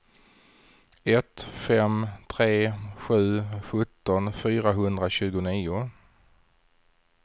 ett fem tre sju sjutton fyrahundratjugonio